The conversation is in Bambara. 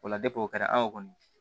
O la o kɛra anw kɔni